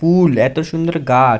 ফুল এত সুন্দর গাছ --